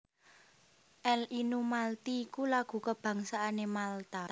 L Innu Malti iku lagu kabangsané Malta